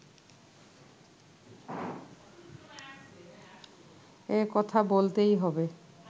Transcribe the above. এ কথা বলতেই হবে